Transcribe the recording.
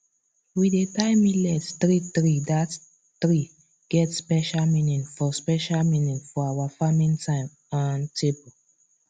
we dey tie millet threethree that three get special meaning for special meaning for our farming time um table